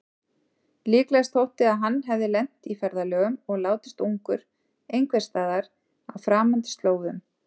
Líklegast þótti að hann hefði lent í ferðalögum og látist ungur einhversstaðar á framandi slóðum.